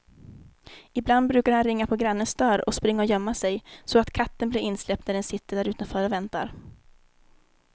Ibland brukar han ringa på grannens dörr och springa och gömma sig, så att katten blir insläppt när den sitter därutanför och väntar.